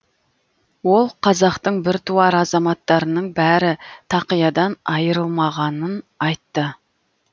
ол қазақтың біртуар азаматтарының бәрі тақиядан айырылмағанын айтты